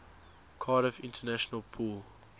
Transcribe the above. cardiff international pool